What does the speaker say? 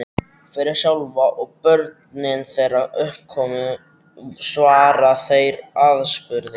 Fyrir þá sjálfa, og börnin þeirra uppkomin, svara þeir aðspurðir.